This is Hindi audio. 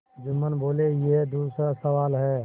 जुम्मन बोलेयह दूसरा सवाल है